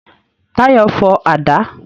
Táyọ̀ fọ àdá